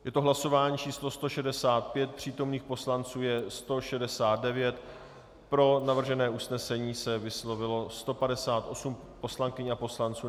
Je to hlasování číslo 165, přítomných poslanců je 169, pro navržené usnesení se vyslovilo 158 poslankyň a poslanců.